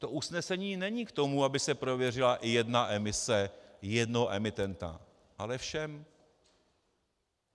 To usnesení není k tomu, aby se prověřila jedna emise jednoho emitenta, ale všem.